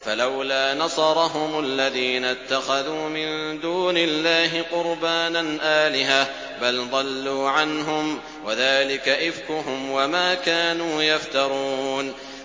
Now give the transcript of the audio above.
فَلَوْلَا نَصَرَهُمُ الَّذِينَ اتَّخَذُوا مِن دُونِ اللَّهِ قُرْبَانًا آلِهَةً ۖ بَلْ ضَلُّوا عَنْهُمْ ۚ وَذَٰلِكَ إِفْكُهُمْ وَمَا كَانُوا يَفْتَرُونَ